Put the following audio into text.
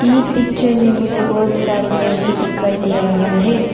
ये पिक्चर में मुझे बहुत सारी मैगी दिखाई दे रहा है।